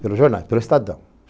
Pelos jornais, pelo Estadão.